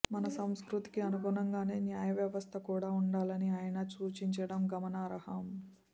మన సంస్కృతికి అనుగుణంగానే న్యాయవ్యవస్థ కూడా ఉండాలని ఆయన సూచించడం గమనార్హం